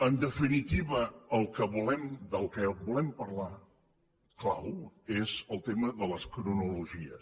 en definitiva del que volem parlar clau és el tema de les cronologies